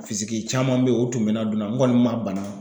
caman bɛ ye o tun bɛ na n kɔni man bana.